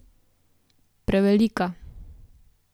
Prevelika.